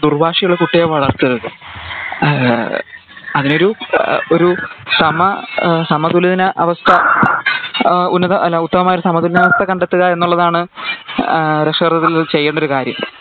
ദുർവാഹി ഉള്ള കുട്ടി ആയി വളർത്തരുത് അഹ് അങ്ങനെ ഒരു എഹ് ഒരു സമ സമതുലിനിതാവസ്ഥ അഹ് ഉന്നത അല്ല ഉത്തമമായൊരു സമതുലിനതാവസ്ഥ കണ്ടെത്തുക എന്നാണ് അഹ് രക്ഷാകർത്തത്തിൽ അവർ ചെയ്യണ്ട ഒരു കാര്യം